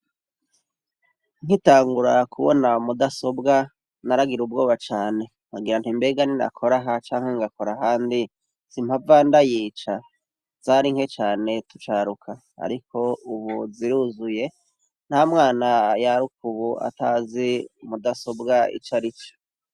Nkitangura kubona mudasobwa naragira ubwoba cane nkagira mbega niyo nakoraho canke nkakora ahandi simpava ndayica zarinke cane ubu ziruzuye ntamwana yaruka ubu atazi mudasobwa ico arico.